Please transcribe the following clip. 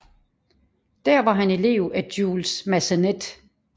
Der var han elev af Jules Massenet